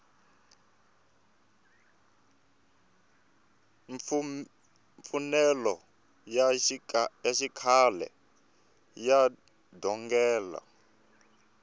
mfanelo ya xikhale ya njhongelo